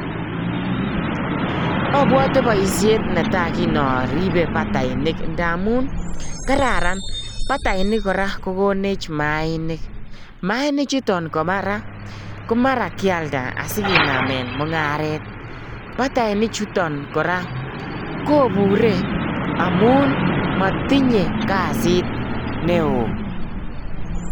Obwote boishet netaa kiin oribe batainik ndamun kararan, batainik kora ko konech mainik, mainichuton komara kialda asikinamen mungaret, bataini chuton kora kobure amun motinye kasit neoo.